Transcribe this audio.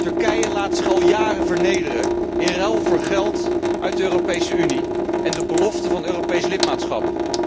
Turkije laat zich al jaren vernederen in ruil voor geld uit de Europese Unie en de belofte van Europees lidmaatschap.